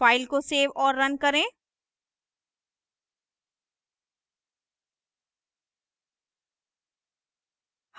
file को save और run करें